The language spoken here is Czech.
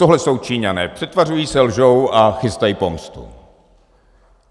Tohle jsou Číňané, přetvařují se, lžou a chystají pomstu.